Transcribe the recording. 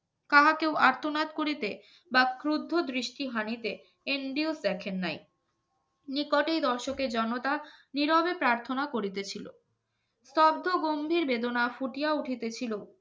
কাহা কেউ আর্তনাদ করিতে বা কূদ্ধ দৃষ্টিহানিতে NDO দেখেন নাই নিকটেই রশকের জনতা নীরবে প্রার্থনা করিতেছিল শব্দ গম্ভীর বেদনা ফুটিয়ে উঠিতে ছিল